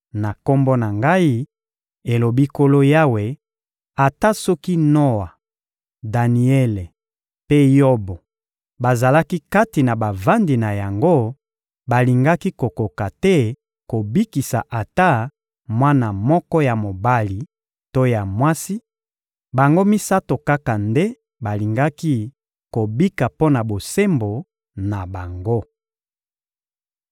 na Kombo na Ngai, elobi Nkolo Yawe, ata soki Noa, Daniele mpe Yobo bazalaki kati na bavandi na yango, balingaki kokoka te kobikisa ata mwana moko ya mobali to ya mwasi; bango misato kaka nde balingaki kobika mpo na bosembo na bango.